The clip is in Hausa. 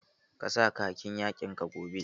Ka sa khakin yakin ka gobe!